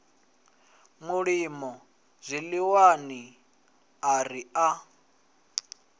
mulimo zwiḽiwani a ri a